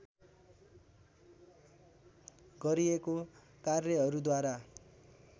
गरिएको कार्यहरूद्वारा